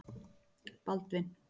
Baldvin